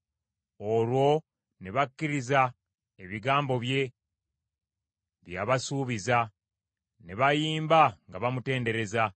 Olwo ne bakkiriza ebigambo bye, bye yabasuubiza; ne bayimba nga bamutendereza.